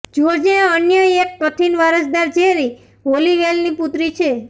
જ્યોર્જને અન્ય એક કથિત વારસદાર જેરી હોલીવેલની પુત્રી છે